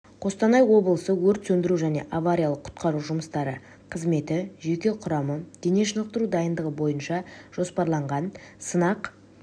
қостанай облысы өрт сөндіру және авариялық-құтқару жұмыстары қызметі жеке құрамы дене шынықтыру дайындығы бойынша жоспарланған сынақ